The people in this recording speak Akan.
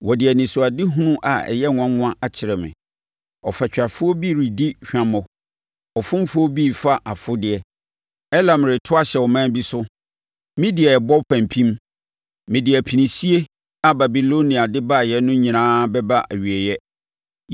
Wɔde anisoadehunu a ɛyɛ nwanwa akyerɛ me: Ɔfatwafoɔ bi redi hwammɔ. Ɔfomfoɔ bi refa afodeɛ. Elam reto ahyɛ ɔman bi so! Media rebɔ pampim! Mede apinisie a Babilonia de baeɛ no nyinaa bɛba awieeɛ.